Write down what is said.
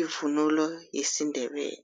ivunulo yesiNdebele.